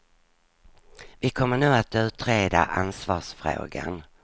Vi kommer nu att utreda ansvarsfrågan.